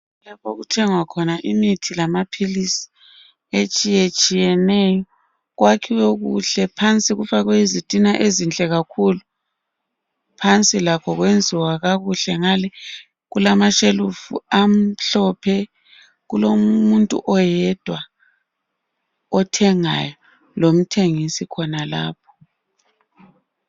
lapho okuthengwa khona imithi lamaphilisi etshiyetshiyeneyo kwakhiwe kuhle phansi kufakwe izitina ezinhle kakhulu phansi lakho kwenziwa kakuhle ngale kulashelufu amhlophe kulomuntu oyedwa othengayo lomthengisi khonalapho